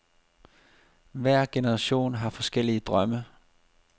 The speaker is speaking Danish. Hver generation har forskellige drømme.